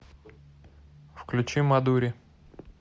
включи мадури